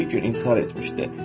Dediyi gün intihar etmişdi.